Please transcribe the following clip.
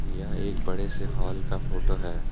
यह एक बड़े से हॉल का फोटो है।